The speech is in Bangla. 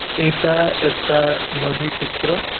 এইটা একটা নদীর চিত্র।